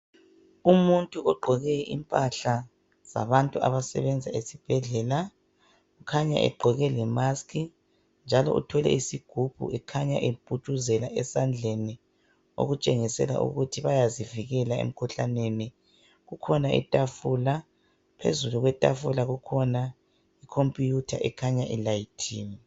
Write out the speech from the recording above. Umuntu ogqoke impahla zabantu abasebenza esibhedlela ukhanya egqoke lemask njalo uthwele isigubhu ekhanya eputshuzela esandleni ,okutshengisela ukuthi bayazivikela emkhuhlaneni. Kukhona itafula, phezulu kwetafula kukhona ikhompiyutha ekhanya ilayithiwe.